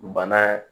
Bana